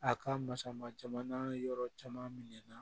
A ka masa ma jamana yɔrɔ caman minɛn na